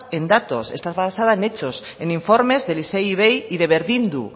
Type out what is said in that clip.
en datos está basada en hechos en informes del issei ivei y de berdindu